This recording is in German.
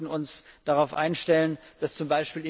Wir sollten uns darauf einstellen, dass z.